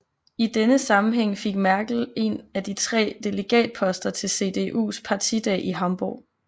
I denne sammenhæng fik Merkel en af de tre delegatposter til CDUs partidag i Hamburg